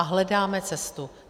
A hledáme cestu.